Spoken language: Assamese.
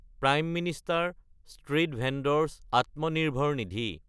prime Minister Street Vendor's Atmanirbhar Nidhi